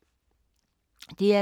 DR K